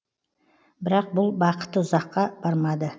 бірақ бұл бақыты ұзаққа бармады